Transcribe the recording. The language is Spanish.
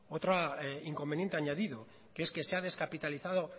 otro inconveniente añadido que es que se ha descapitalizado